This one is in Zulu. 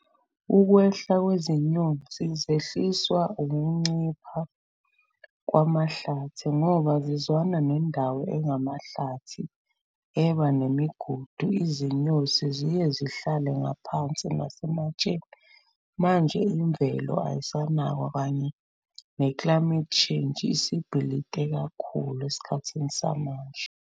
Ukwehla kwezinyosi zehliswa ukuncipha kwamahlathi ngoba zizwana nendawo engamahlathi eba nemigodi. Izinyosi ziye zihlale ngaphansi nasematsheni, manje imvelo ayisanakwa kanye ne-climate change isibhilite kakhulu esikhathini samanje.